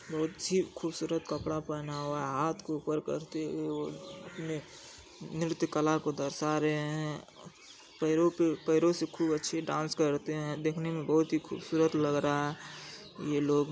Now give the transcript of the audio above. बहुत ही खुबसूरत कपड़ा पहना हुआ है हाथ को ऊपर करते हुए अपने नृत्यकला को दर्शा रहे है पैरो पे पैरो से खूब अच्छे डांस करते है देखने में बहुत ही खूबसूरत लग रहा है। ये लोग --